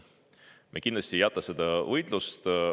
Me kindlasti ei jäta seda võitlust.